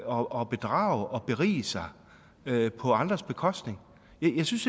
og bedrage og berige sig på andres bekostning jeg synes